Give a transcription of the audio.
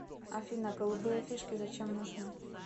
афина голубые фишки зачем нужны